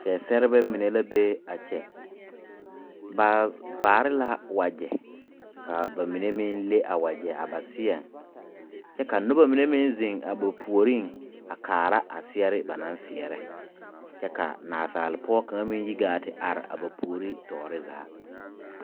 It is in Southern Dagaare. Seɛserebɛ mene la be a kye ba vaare la wɔje ka ba menne meng le a wɔje a ba seɛ kye ka nuba mene meng zeng ba pouring a kaara a seɛre ba nan seɛre kye ka naasaalpoɔ kanga meng yi gaa ti arẽ a ba poure toɔre zaa.